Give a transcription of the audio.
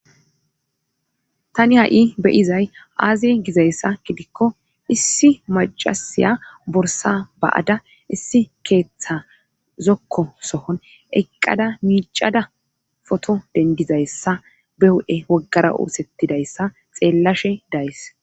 Tani ha'i beyizay aaze gizayssa gidikko issi macasiya borsa ba'ada issi keeththa zokko sohon eqqada miicada foto dendizayssa be hu7e woggara oosettidayssa xeellashe days